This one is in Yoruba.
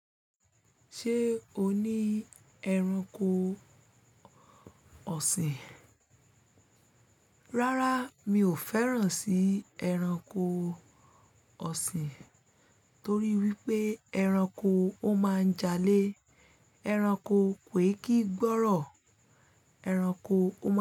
Ṣé o ní ẹranko ọ̀sìn? Rárá, mi ò fẹ́ràn sí ẹranko ọ̀sìn, torí wípé ẹranko ó máa ń jalè, ẹranko kò kí gbọ́rọ̀, ẹranko ó máa ń.